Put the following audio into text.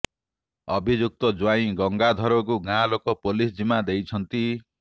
ଅଭିଯୁକ୍ତ ଜ୍ୱାଇଁ ଗଙ୍ଗାଧରକୁ ଗାଁ ଲୋକେ ପୋଲିସ ଜିମା ଦେଇଛନ୍ତି